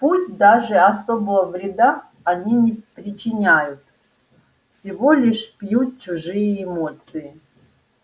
пусть даже особого вреда они не причиняют всего лишь пьют чужие эмоции